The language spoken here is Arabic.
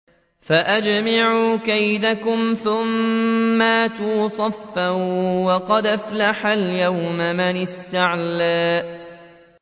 فَأَجْمِعُوا كَيْدَكُمْ ثُمَّ ائْتُوا صَفًّا ۚ وَقَدْ أَفْلَحَ الْيَوْمَ مَنِ اسْتَعْلَىٰ